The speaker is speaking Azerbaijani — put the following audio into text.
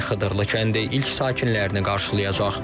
Bu ay Xıdırılı kəndi ilk sakinlərini qarşılayacaq.